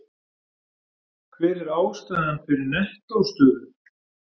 Hver er ástæðan fyrir nettó stöðu?